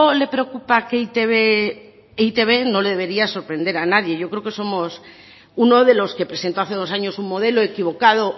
le preocupa que e i te be e i te be no le debería de sorprender a nadie yo creo que somos uno de los que presentó hace dos años un modelo equivocado